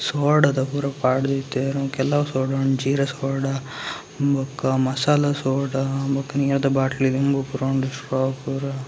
ಸೋಡದ ಪೂರ ಪಾಡ್ದ್‌ ಇತ್ತೆರ್‌ ಕೆಲವು ಸೋಡ ಉಂಡು ಜೀರ ಸೋಡ ಬುಕ್ಕ ಮಸಾಲ ಸೋಡ ಬುಕ್ಕ ನೀರ್‌ದ ಬಾಟಲ್‌ ನೀರು ಪೂರ ಉಂಡು.